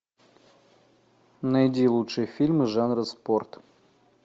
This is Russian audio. найди лучшие фильмы жанра спорт